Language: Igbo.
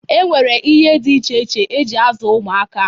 E nwere ihe dị iche iche e ji azụ ụmụaka.